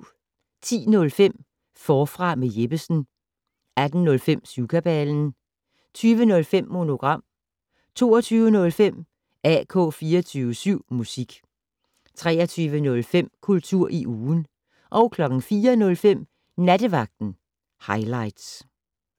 10:05: Forfra med Jeppesen 18:05: Syvkabalen 20:05: Monogram 22:05: AK 24syv Musik 23:05: Kultur i ugen 04:05: Nattevagten Highligts